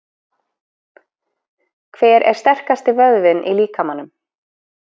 Hver er sterkasti vöðvinn í líkamanum?